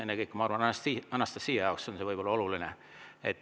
Ennekõike, ma arvan, võib see olla Anastassia jaoks oluline.